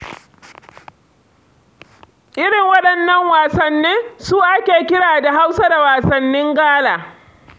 Irin waɗannan wasannin su ake kira da Hausa da wasannin gala.